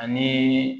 Ani